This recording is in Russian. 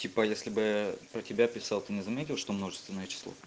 типа если бы про тебя писал ты не заметил что множественное число